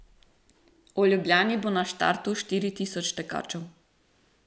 V Ljubljani bo na štartu štiri tisoč tekačev.